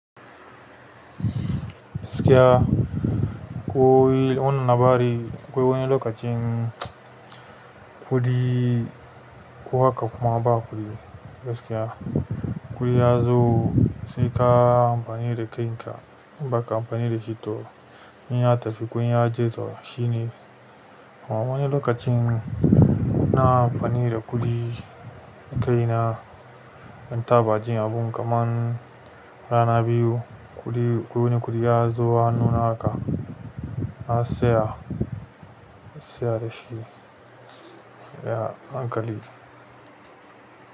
Gaskiya, koyi wannan labari. Akwai wani lokacin kuɗi kuha ka kuma ba kuɗi gaskiya. Kuɗi ya zo sai ka yi amfani da kaina. In ba ka amfani da shi to in ya tafi kun ya je to shine. Amma ni lokacin na amfani da kuɗi kaina ban taɓa jin abun kaman rana biyu kuɗi ko wani kuɗi ya zo hannuna haka na saya, saya da shi a hankali.